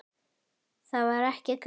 Það var ekki gaman.